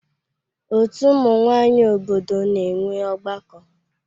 Ọtú ụmụ nwanyị obodo na-enwe ọgbakọ.